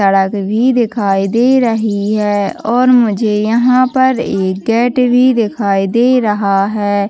सड़क भी दिखाई दे रही है और मुझे यहाँ पर एक गेट भी दिखाई दे रहा है।